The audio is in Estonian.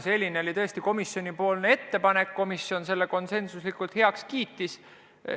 Aga selline oli komisjoni ettepanek, mis konsensusega heaks kiideti.